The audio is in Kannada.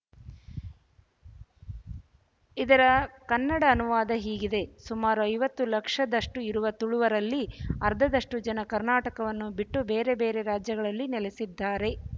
ಇದರ ಕನ್ನಡ ಅನುವಾದ ಹೀಗಿದೆಸುಮಾರು ಐವತ್ತು ಲಕ್ಷದಷ್ಟು ಇರುವ ತುಳುವರಲ್ಲಿ ಅರ್ಧದಷ್ಟು ಜನ ಕರ್ನಾಟಕವನ್ನು ಬಿಟ್ಟು ಬೇರೆ ಬೇರೆ ರಾಜ್ಯಗಳಲ್ಲಿ ನೆಲೆಸಿದ್ದಾರೆ